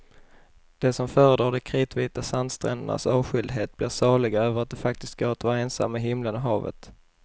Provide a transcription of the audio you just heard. De som föredrar de kritvita sandsträndernas avskildhet blir saliga över att det faktiskt går att vara ensam med himlen och havet.